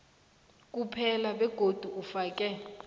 kuphela begodu ufake